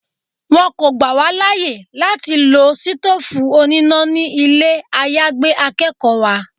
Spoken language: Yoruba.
Wọ́n kọ́ gbà wá láyè láti lọ sítófù oníná ni ilé àyágbé akẹ́kọ̀ọ́ wa.